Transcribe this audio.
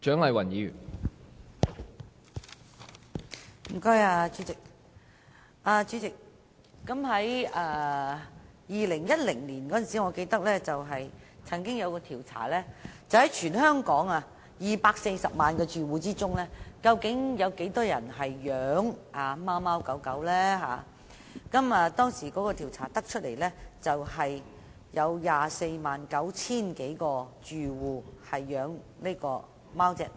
代理主席，我記得2010年曾有一項調查，關於全香港萬個住戶中有多少人飼養貓狗，當時的調查結果顯示有 249,000 多個住戶飼養貓或狗。